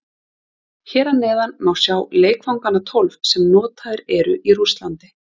Hér að neðan má sjá leikvangana tólf sem notaðir eru í Rússlandi.